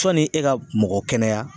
Sɔnni e ka mɔgɔ kɛnɛya.